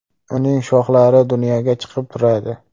Uning shoxlari dunyoga chiqib turadi.